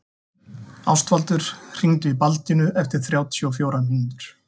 Ástvaldur, hringdu í Baldínu eftir þrjátíu og fjórar mínútur.